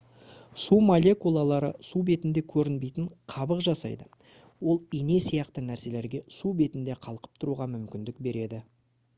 су молекулалары су бетінде көрінбейтін қабық жасайды ол ине сияқты нәрселерге су бетінде қалқып тұруға мүмкіндік береді